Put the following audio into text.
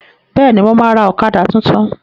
Bẹ́ẹ̀ni, mo ma ra ọ̀kadà tuntun